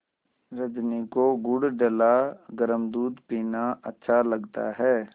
रजनी को गुड़ डला गरम दूध पीना अच्छा लगता है